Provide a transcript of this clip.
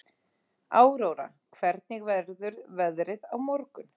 Áróra, hvernig verður veðrið á morgun?